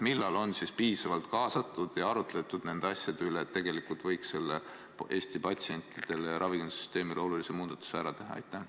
Millal on siis piisavalt kaasatud ja arutletud nende asjade üle, et tegelikult võiks selle Eesti patsientidele ja ravimisüsteemile olulise muudatuse ära teha?